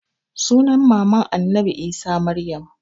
Sunan maman annabi isa maryam